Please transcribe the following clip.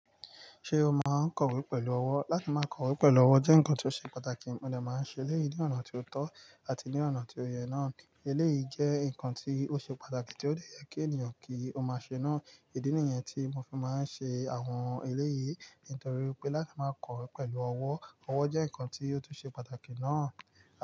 Ṣé o máa ń kọ̀wé pẹ̀lú ọwọ́? Láti máa kọ̀wé pẹ̀lú ọwọ́ jẹ́ nǹkan tó ṣe pàtàkì, mo ní a máa ń ṣe eléyìí ní ọ̀nà tí ó tọ́ àti ní ọ̀nà tí ó yẹ náà. Eléyìí jẹ́ nǹkan tí ó ṣe pàtàkì tí ó lè yẹ kí ènìyàn kí ó máa ṣe náà. Ìdí nìyẹn tí mo fi máa ń ṣe àwọn eléyìí nítorí pé láti máa kọ̀wé pẹ̀lú ọwọ́, ọwọ́ jẹ́ nǹkan tí ó tún ṣe pàtàkì náà.